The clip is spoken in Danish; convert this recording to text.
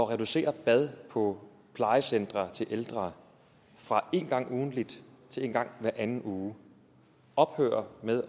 reducerer bad på plejecentre til ældre fra en gang ugentligt til en gang hver anden uge ophører med